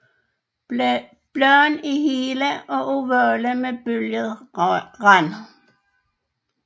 Bladene er hele og ovale med bølget rand